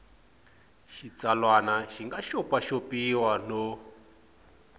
xitsalwana xi nga xopaxopiwa no